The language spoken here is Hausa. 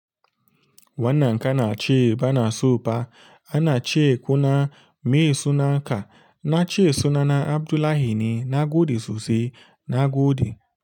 Wannan kana ce bana soba ana ce kuna me sunanka na ce suna na Abdullahi ne na gode sosai na gode.